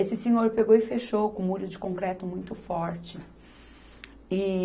Esse senhor pegou e fechou com um muro de concreto muito forte. E